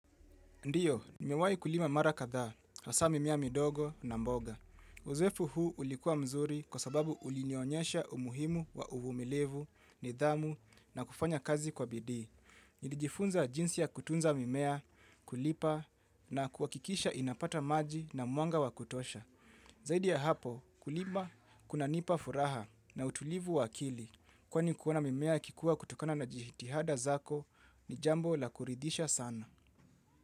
Ndiyo, nimewai kulima mara kadhaa, hasa mimea midogo na mboga. Uzoefu huu ulikuwa mzuri kwa sababu ulinionyesha umuhimu wa uvumilivu, nidhamu na kufanya kazi kwa bidii. Nilijifunza jinsi ya kutunza mimea, kulipa na kuhakikisha inapata maji na mwanga wa kutosha. Zaidi ya hapo, kulima, kuna nipa furaha na utulivu wa akili. Kwani kuona na mimea ikikuwa kutokana na jihitihada zako ni jambo la kuridhisha sana.